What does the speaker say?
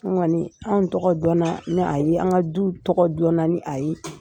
An kɔniɔ anw tɔgɔ dɔn na ni a ye, an ka duw tɔgɔ dɔn na ni a ye.